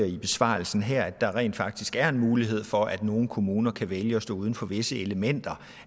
i sin besvarelse her nemlig at der rent faktisk er en mulighed for at nogle kommuner kan vælge at stå uden for visse elementer